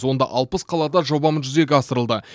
онда алпыс қалада жобамыз жүзеге асырылды